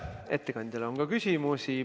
Ettekandjale on ka küsimusi.